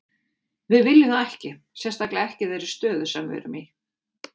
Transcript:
Við viljum það ekki, sérstaklega ekki í þeirri stöðu sem við erum í.